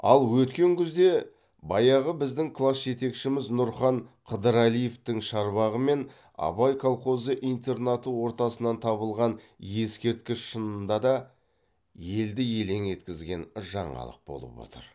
ал өткен күзде баяғы біздің класс жетекшіміз нұрхан қыдырәлиевтің шарбағы мен абай колхозы интернаты ортасынан табылған ескерткіш шынында да елді елең еткізген жаңалық болып отыр